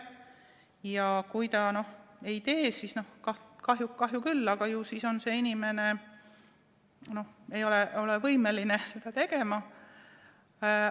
Ja kui ta seda ei tee, siis kahju küll, aga ju see inimene siis ei ole võimeline seda tegema.